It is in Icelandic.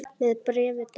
Með bréfi dags.